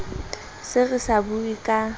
se re sa bue ka